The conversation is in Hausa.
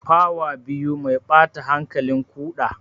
Fawa biyu mai ɓata hankalin ƙuda.